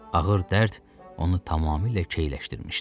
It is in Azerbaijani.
Ağır dərd onu tamamilə keyləşdirmişdi.